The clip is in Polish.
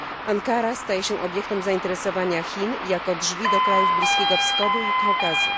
Ankara staje się obiektem zainteresowania Chin, jako drzwi do krajów Bliskiego Wschodu i Kaukazu.